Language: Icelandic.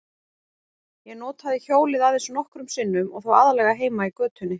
Ég notaði hjólið aðeins nokkrum sinnum og þá aðallega heima í götunni.